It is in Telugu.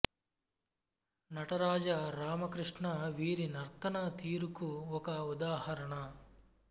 నటరాజ రామ కృష్ణ వీరి నర్తన తీరుకు ఒక ఉదాహరణ